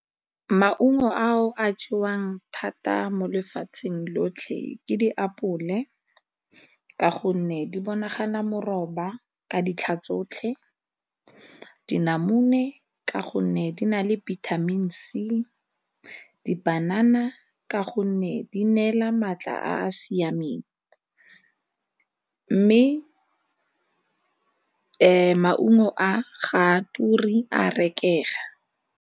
Maungo ao a jewang thata mo lefatsheng lotlhe ke diapole ka gonne di bonagala moroba ka ditlha tsotlhe, dinamune ka gonne di na le vitamin C, dipanana ka gonne di neela maatla a a siameng mme maungo a ga a ture a rekega.